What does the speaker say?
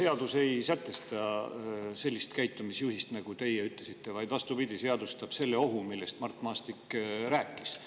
Seadus ei sätesta sellist käitumisjuhist, nagu teie ütlesite, vaid vastupidi, seadustab selle ohu, millest Mart Maastik rääkis.